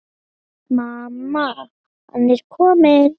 Mamma, hann er kominn!